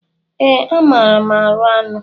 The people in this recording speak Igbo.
Ee, amaara m arụ anụ.